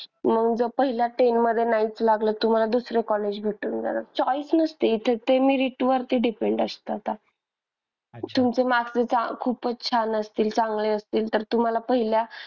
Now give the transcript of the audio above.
मग जर पहिल्या ten मध्ये नाहीच लागलं तुम्हाला दुसरं college भेटून जाणार choice नसते इथे ते merit वर depend असत आता. तुमचं marks जर खूपच छान असतील चांगले असतील तर तुम्हाला पहिल्या,